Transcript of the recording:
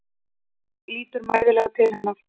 Lítur mæðulega til hennar.